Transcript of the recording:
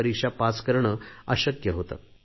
ची परीक्षा उत्तीर्ण होणे अशक्य होते